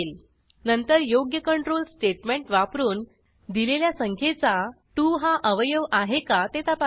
नंतर योग्य control statement वापरून दिलेल्या संख्येचा 2हा अवयव आहे का ते तपासा